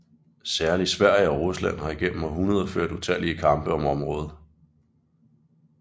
Særligt Sverige og Rusland har igennem århundreder ført utallige kampe om området